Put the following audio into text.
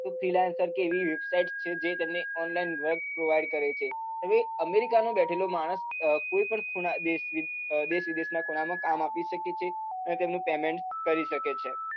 freelancer કે એવી website કે જેમની online work provide કરે છે તે america માં બેઠેલો માણસ કોઈ પણ ખૂણા દેશ વિદેશ ના ખૂણા માં કામ આપી શકે છે તેમનું payment કરી શકે છે